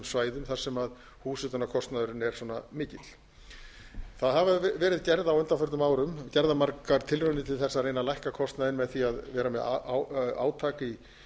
svæðum þar sem húshitunarkostnaðurinn er svona mikill það hafa verið gerð á undanförnum árum gerðar margar tilraunir til þess að reyna að lækka kostnaðinn með því að vera með átak